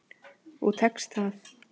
Og tekst það.